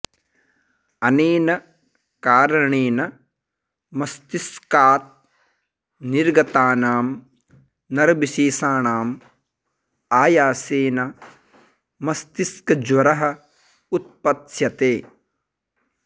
अनेन कारणेन मस्तिष्कात् निर्गतानां नरविशेषाणाम् आयासेन मस्तिष्कज्वरः उत्पत्स्यते